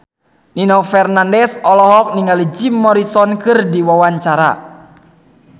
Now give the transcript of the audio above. Nino Fernandez olohok ningali Jim Morrison keur diwawancara